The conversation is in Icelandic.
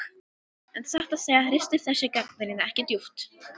En satt að segja ristir þessi gagnrýni ekki djúpt.